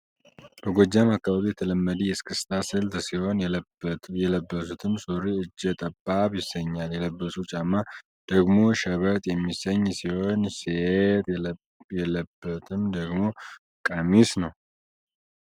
በጎጃም አካባቢ የተለመደ የስክስታ ስልት ሲሆን የለበትም ሱሪ እጀ ጠባብ ይሰኛል። የለበሱ ጫማ ደግሞ ሸበጥ የሚሰኝ ሲሆን ሴት የለበትም ደግሞ ቀሚስ ነው።